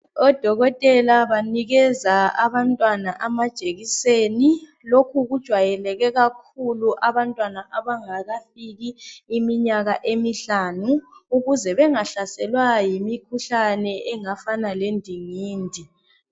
Odokotela banika abantwana amajekiseni lokhu kujwayeleke kakhulu abantwana abangakafiki iminyaka emihlanu ukuze bengahlaselwa yimikhuhlane engafana le ndingindi.